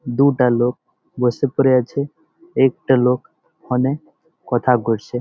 দুটা লোক বসে পরে আছে একটা লোক ওখানে কথা করছে।